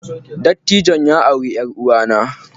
Dattijon ya auri yar uwanna